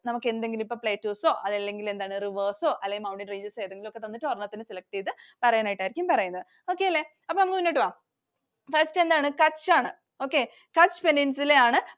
നമുക്ക് എന്തെങ്കിലും ഇപ്പൊ Plateaus ഓ അല്ലെങ്കിൽ rivers ഒ അല്ലെങ്കിൽ mountain ranges ഓ ഏതെങ്കിലും ഒക്കെ തന്നിട്ട് ഒരെണ്ണത്തിനെ select ചെയ്തു പറയാനായിട്ടായിരിക്കും പറയുന്നത്. Okay അല്ലെ. അപ്പൊ നമുക്ക് മുന്നോട്ട് പോകാം. First എന്താണ്? Kutch ആണ്. Kutch Peninsula യാണ്.